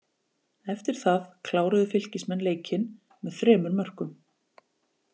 Eftir það kláruðu Fylkismenn leikinn með þremur mörkum.